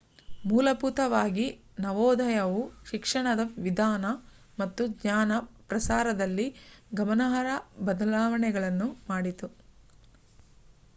ಮೂಲಭೂತವಾಗಿ ನವೋದಯವು ಶಿಕ್ಷಣದ ವಿಧಾನ ಮತ್ತು ಜ್ಞಾನ ಪ್ರಸಾರದಲ್ಲಿ ಗಮನಾರ್ಹ ಬದಲಾವಣೆಯನ್ನು ಮಾಡಿತು